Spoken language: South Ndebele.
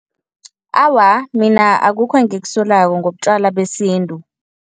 Awa, mina akukho engikusolako ngobutjwala besintu.